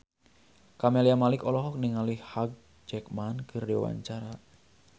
Camelia Malik olohok ningali Hugh Jackman keur diwawancara